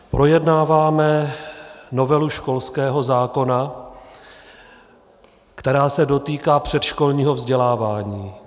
Projednáváme novelu školského zákona, která se dotýká předškolního vzdělávání.